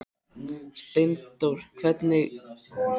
Steindór gengur með mér vestur á bóginn eftir skólasetningu.